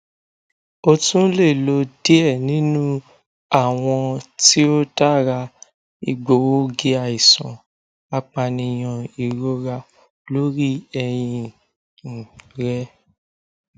o tun le lo diẹ ninu awọn ti o dara egboogiaisan apaniyan irora lori ẹhin um rẹ